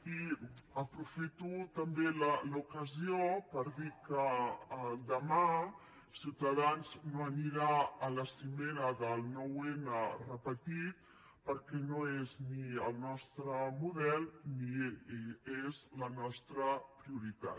i aprofito també l’ocasió per dir que demà ciutadans no anirà a la cimera del nueve n repetit perquè no és ni el nostre model ni és la nostra prioritat